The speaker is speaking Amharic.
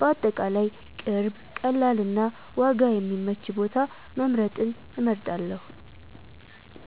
በአጠቃላይ ቅርብ፣ ቀላል እና ዋጋ የሚመች ቦታ መምረጥን እመርጣለሁ።